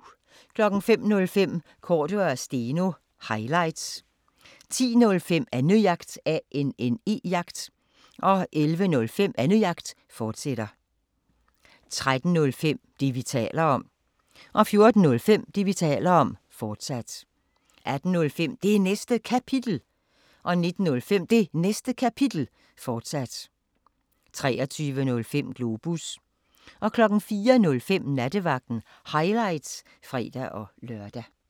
05:05: Cordua & Steno – highlights 10:05: Annejagt 11:05: Annejagt, fortsat 13:05: Det, vi taler om 14:05: Det, vi taler om, fortsat 18:05: Det Næste Kapitel 19:05: Det Næste Kapitel, fortsat 23:05: Globus 04:05: Nattevagten – highlights (fre-lør)